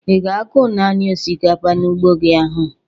Ị ga-akụ nani osikapa n'ugbo gi ahụ?